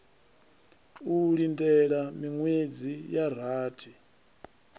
u lindela miṅwedzi ya rathi